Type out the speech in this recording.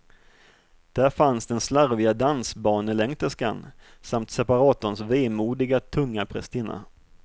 Där fanns den slarviga dansbanelängterskan samt separatorns vemodiga, tunga prästinna.